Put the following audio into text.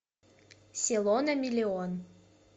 село на миллион